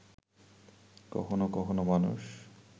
কখনো কখনো মানুষ